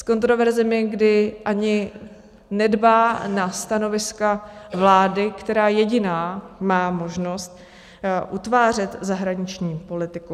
S kontroverzemi, kdy ani nedbá na stanoviska vlády, která jediná má možnost utvářet zahraniční politiku.